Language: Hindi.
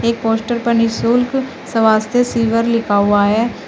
पोस्टर पर निशुल्क स्वास्थ्य सिवर लिखा हुआ है।